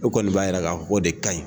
E kɔni b'a jira k'a fɔ o de ka ɲin.